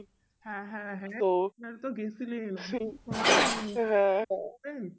হ্যাঁ হ্যাঁ হ্যাঁ আপনারা তো গেছিলেন শোনাই হয়নি